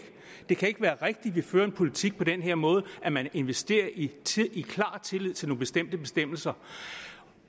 det kan ikke være rigtigt at vi fører en politik på den her måde at man investerer i i klar tillid til nogle bestemte bestemmelser